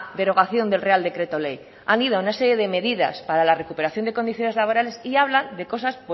derogación del real decreto ley han ido a una serie de medidas para la recuperación de condiciones laborales y habla de cosas